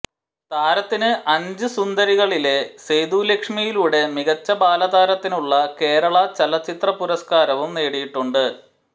താരത്തിന് അഞ്ച് സുന്ദരികളിലെ സേതുലക്ഷ്മിയിലൂടെ മികച്ച ബാലതാരത്തിനുള്ള കേരള ചലച്ചിത്ര പുരസ്കാരവം നേടിയിട്ടുണ്ട്